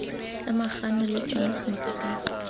samaganwa le tsona sentle ka